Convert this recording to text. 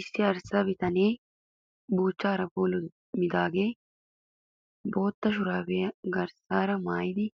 Issi arssa bitanee buuchchaara puulummidaagee bootta shuraabiya garsaara maayidi